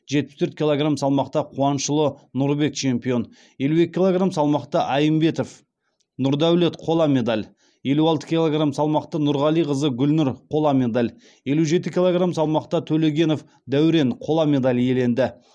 жетпіс төрт килограмм салмақта қуанышұлы нұрбек чемпион елу екі килограмм салмақта әймбетов нұрдаулет қола медаль елу алты килограмм салмақта нұрғалиқызы гүлнұр қола медаль елу жеті килограмм салмақта төлегенов дәурен қола медаль иеленді